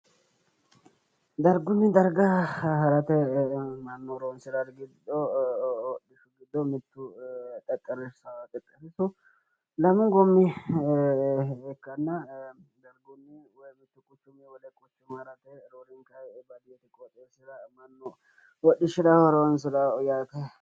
Dargunni darga harate mannu horoonsirawori giddo mittu xexxerrisaho. Xexxerrisu lame goommi ikkanna dargunni woyi mittu quchumiyi wole quchuma harate woyi roorenkayi baadiyyete qooxeessira mannu hodhishshira horoonsirawo yaate.